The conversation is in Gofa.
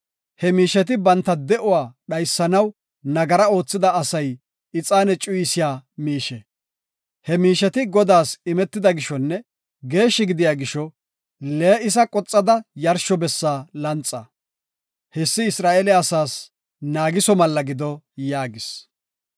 He miisheti banta de7uwa dhaysanaw nagara oothida asay ixaane cuyisiya miishe. He miisheti Godaas imetida gishonne geeshshi gidiya gisho lee7isa qoxada yarsho bessa lanxa. Hessi Isra7eele asaas naagiso malla gido” yaagis.